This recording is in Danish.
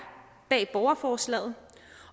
bag borgerforslaget